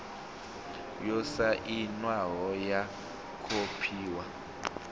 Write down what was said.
yo sainwaho ya khophi ya